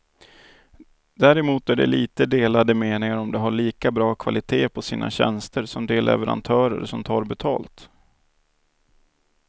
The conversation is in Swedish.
Däremot är det lite delade meningar om de har lika bra kvalitet på sina tjänster som de leverantörer som tar betalt.